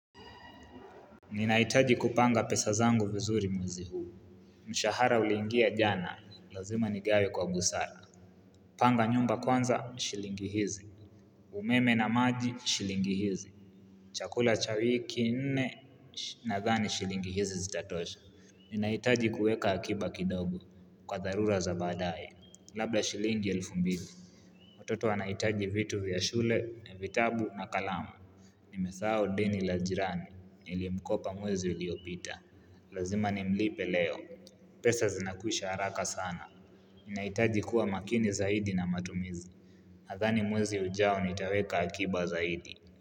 Ninahitaji kupanga pesa zangu vizuri mwezi huu Mshahara ulingia jana, lazima nigawe kwa busara Panga nyumba kwanza, shilingi hizi umeme na maji, shilingi hizi Chakula cha wiki nne, nadhani shilingi hizi zitatosha Ninahitaji kuweka akiba kidogo, kwa tharura za badaye, labla shilingi elfu mbili Watoto wanahitaji vitu vya shule, vitabu na kalama Nimesahau deni la jirani, nilimkopa mwezi uliopita, lazima nimlipe leo pesa zinakwisha haraka sana, ninahitaji kuwa makini zaidi na matumizi Nathani mwezi ujao nitaweka akiba zaidi.